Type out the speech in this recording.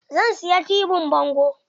Zan siya tibin bango.